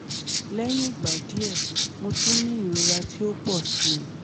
Lẹhin igba diẹ Mo tun ni irora ti o o pọ si